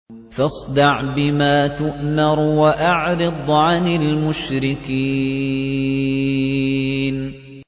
فَاصْدَعْ بِمَا تُؤْمَرُ وَأَعْرِضْ عَنِ الْمُشْرِكِينَ